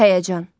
Həyəcan.